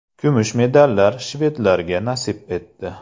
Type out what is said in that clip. Kumush medallar shvedlarga nasib etdi.